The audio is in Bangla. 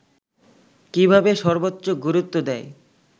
কীভাবে সর্বোচ্চ গুরুত্ব দেয়